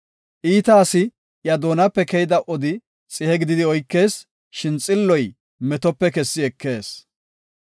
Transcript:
Iita asa iya doonape keyida odi xihe gididi oykees; shin xilloy metope kessi ekees.